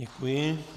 Děkuji.